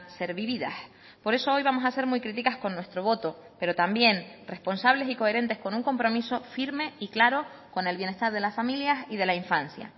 ser vividas por eso hoy vamos a ser muy críticas con nuestro voto pero también responsables y coherentes con un compromiso firme y claro con el bienestar de las familias y de la infancia